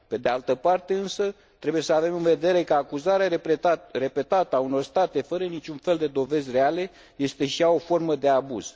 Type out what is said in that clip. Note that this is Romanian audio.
Pe de altă parte, însă, trebuie să avem în vedere că acuzare repetată a unor state fără niciun fel de dovezi reale este și ea o formă de abuz.